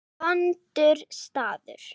Vondur staður.